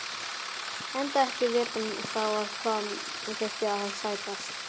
Enda ekki vitað þá á hvað þyrfti að sættast.